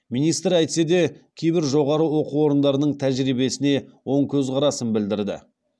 министр әйтсе де кейбір жоғары оқу орындарының тәжірибесіне оң көзқарасын білдірді